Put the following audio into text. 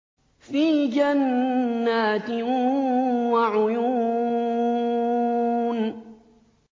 فِي جَنَّاتٍ وَعُيُونٍ